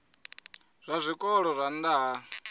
zwa zwikolo zwa nha ha